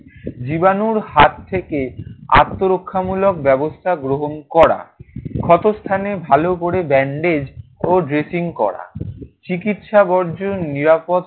জীবাণুর হাত থেকে আত্মরক্ষামূলক ব্যবস্থা গ্রহণ করা। ক্ষতস্থানে ভালো করে bandage ও dressing করা। চিকিৎসা বর্জ নিরাপদ